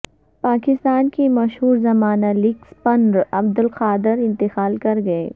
پاکستان کے مشہور زمانہ لیگ سپنر عبدالقادر انتقال کر گئے